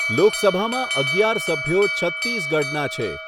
લોકસભામાં અગિયાર સભ્યો છત્તીસગઢના છે.